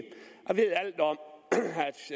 jeg ved alt om